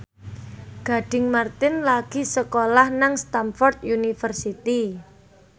Gading Marten lagi sekolah nang Stamford University